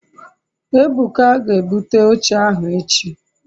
ebuka ge ebute oche ahu echi